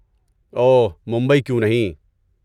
اوہ، ممبئی کیوں نہیں؟